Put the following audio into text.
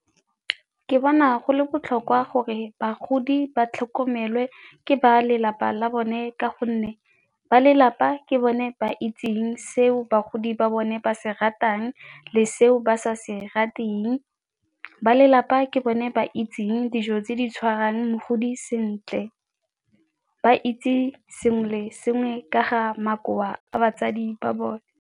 Ke bona go le botlhokwa gore bagodi ba tlhokomelwe ke ba lelapa la bone ka gonne ba lelapa ke bone ba itseng se o bagodi ba bone ba se ratang le se o ba sa se rateng. Ba lelapa ke bone ba itseng dijo tse di tshwarang mogodi sentle, ba itse sengwe le sengwe ka ga makoa a batsadi ba bone.